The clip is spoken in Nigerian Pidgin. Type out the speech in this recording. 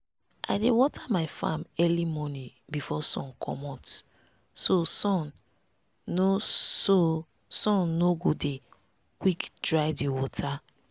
i dey water my farm early morning before sun comot so sun no so sun no go dey quick dry the water.